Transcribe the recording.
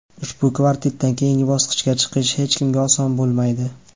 Ushbu kvartetdan keyingi bosqichga chiqish hech kimga oson bo‘lmaydi.